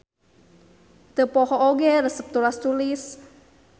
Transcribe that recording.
Teu poho oge resep tulas-tulis.